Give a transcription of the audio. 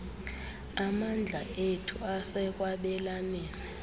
amandla ethu asekwabelaneni